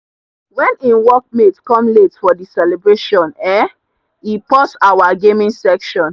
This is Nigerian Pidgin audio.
when him work mate come late for the celebration um e pause our gaming session.